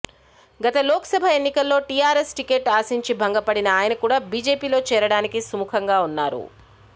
గత లోక్ సభ ఎన్నికల్లో టీఆర్ఎస్ టికెట్ ఆశించి భంగపడిన ఆయన కూడా బీజేపీలో చేరడానికి సుముఖంగా ఉన్నారు